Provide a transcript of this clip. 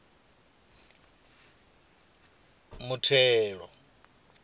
muthelo